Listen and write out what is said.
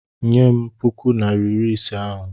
Nye m puku naịra iri ise ahụ!